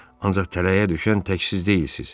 Ancaq tələyə düşən tək siz deyilsiz.